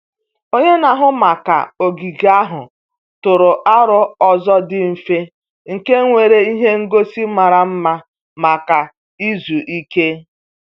Onye na-ahụ maka ogige ahụ tụrụ aro ụzọ dị mfe nke nwere ihe ngosi mara mma maka izu ike.